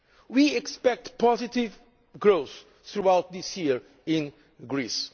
We expect positive growth throughout this year in Greece.